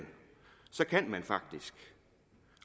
kan man faktisk